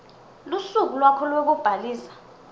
lusuku lwakho lwekubhalisa